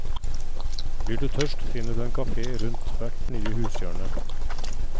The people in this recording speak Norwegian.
Blir du tørst, finner du en kafé rundt hvert nye hushjørne.